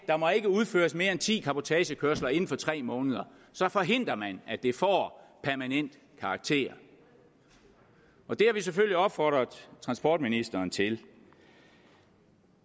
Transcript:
der må ikke udføres mere end ti cabotagekørsler inden for tre måneder så forhindrer man at det får permanent karakter og det har vi selvfølgelig opfordret transportministeren til